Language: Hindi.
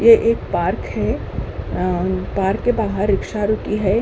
यह एक पार्क है। पार्क के बाहर रिक्शा रुकी है। अ